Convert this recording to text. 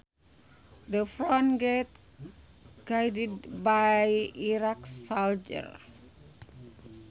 The front gate guarded by Iraqi soldiers